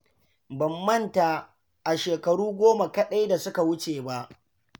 Ban manta a shekaru goma kaɗai da suka wuce ba.